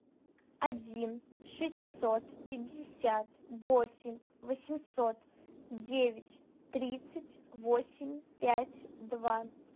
один шестьсот пятьдесят восемь восемьсот девять тридцать восемь пять два